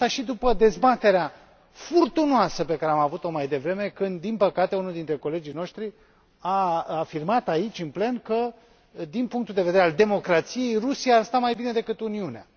Spun acest lucru și după dezbaterea furtunoasă pe care am avut o mai devreme când, din păcate, unul dintre colegii noștri a afirmat aici în plen că, din punctul de vedere al democrației, Rusia ar sta mai bine decât Uniunea.